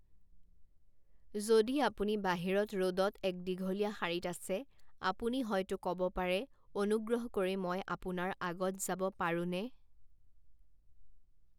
যদি আপুনি বাহিৰত ৰ'দত এক দীঘলীয়া শাৰীত আছে, আপুনি হয়তো ক'ব পাৰে, অনুগ্ৰহ কৰি মই আপোনাৰ আগত যাব পাৰো নে?